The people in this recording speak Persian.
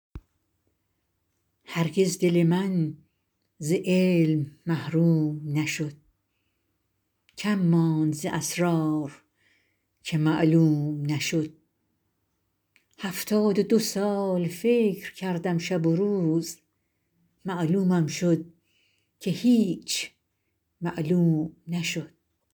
هرگز دل من ز علم محروم نشد کم ماند ز اسرار که معلوم نشد هفتاد و دو سال فکر کردم شب و روز معلومم شد که هیچ معلوم نشد